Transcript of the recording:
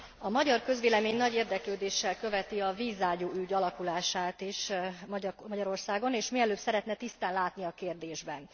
A magyar közvélemény nagy érdeklődéssel követi a vízágyú ügy alakulását is Magyarországon, és mielőbb szeretne tisztán látni a kérdésben.